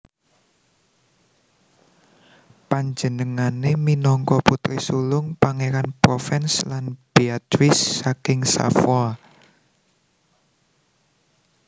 Panjenengane minangka putri sulung Pangeran Provence lan Béatrice saking Savoie